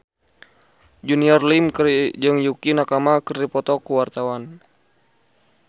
Junior Liem jeung Yukie Nakama keur dipoto ku wartawan